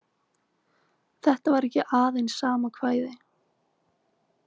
Þetta var ekki aðeins sama kvæði.